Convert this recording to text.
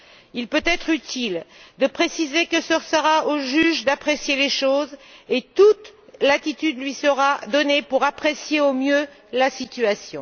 Il peut être utile de préciser qu'il appartiendra au juge d'apprécier les choses et toute latitude lui sera donnée pour apprécier au mieux la situation.